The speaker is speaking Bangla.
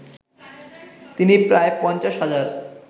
তিনি প্রায় পঞ্চাশ হাজার